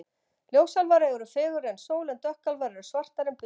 Ljósálfar eru fegurri en sól en dökkálfar eru svartari en bik.